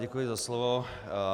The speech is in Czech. Děkuji za slovo.